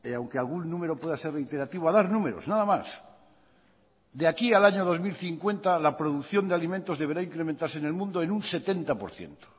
aunque algún número pueda ser reiterativo a dar números nada más de aquí al año dos mil cincuenta la producción de alimentos deberá incrementarse en el mundo en un setenta por ciento